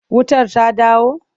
Wutar ta dawo?